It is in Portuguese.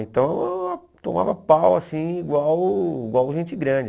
Então, eu tomava pau, assim, igual igual gente grande.